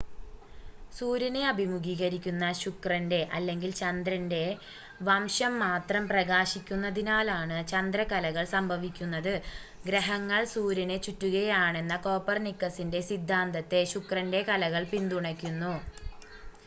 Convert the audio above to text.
സൂര്യനെ അഭിമുഖീകരിക്കുന്ന ശുക്രന്റെ അല്ലെങ്കിൽ ചന്ദ്രന്റെ വശം മാത്രം പ്രകാശിക്കുന്നതിനാലാണ് ചന്ദ്രക്കലകൾ സംഭവിക്കുന്നത്. ഗ്രഹങ്ങൾ സൂര്യനെ ചുറ്റുകയാണെന്ന കോപ്പർനിക്കസിന്റെ സിദ്ധാന്തത്തെ ശുക്രന്റെ കലകൾ പിന്തുണയ്ക്കുന്നു